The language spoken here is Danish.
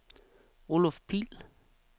Oluf Pihl